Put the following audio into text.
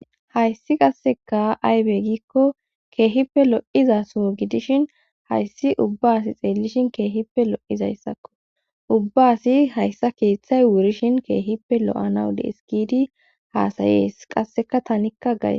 hayssi qasseka aybe gikko keehippe lo7iza so gidishin hayssi ubba asi xeellishin keehippe lo7izayssakko ubba asi hayssa keeththay wurishin keehippe lo7anawu dees giidi haasayees qasseka tanikka gays